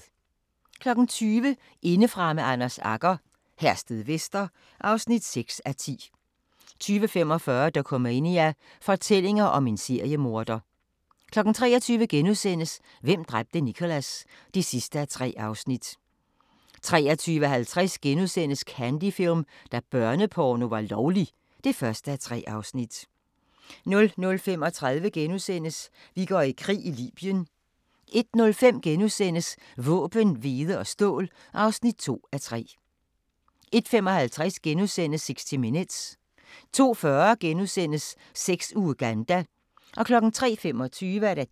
20:00: Indefra med Anders Agger - Herstedvester (6:10) 20:45: Dokumania: Fortællinger om en seriemorder 23:00: Hvem dræbte Nicholas? (3:3)* 23:50: Candy Film – da børneporno var lovlig (1:3)* 00:35: Vi går i krig: Libyen * 01:05: Våben, hvede og stål (2:3)* 01:55: 60 Minutes * 02:40: Sex i Uganda * 03:25: